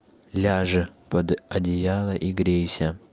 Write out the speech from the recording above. ляжь под одеяло и грейся